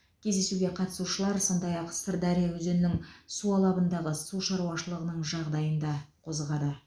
кездесуге қатысушылар сондай ақ сырдария өзенінің су алабындағы су шаруашылығының жағдайын да қозғады